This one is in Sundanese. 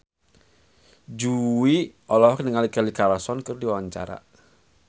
Jui olohok ningali Kelly Clarkson keur diwawancara